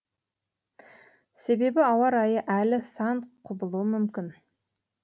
себебі ауа райы әлі сан құбылуы мүмкін